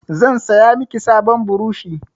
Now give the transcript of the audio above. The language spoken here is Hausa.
Zan saya miki sabon burushi.